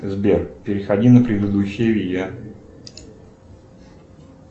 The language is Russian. сбер переходи на предыдущее видео